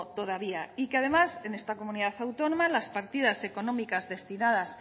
todavía y que además en esta comunidad autónoma las partidas económicas destinadas